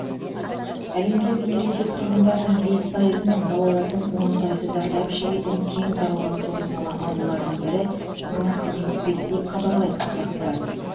әлемдегі ересек тұрғындардың бес пайызы мен балалардың он пайызы зардап шегетін кең таралған созылмалы аурулардың бірі бронх демікпесі деп хабарлайды қазақпарат